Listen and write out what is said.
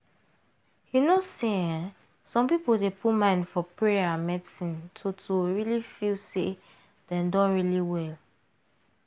you know say eeh some people dey put mind for payer and medicine to to really feel say dem don really well.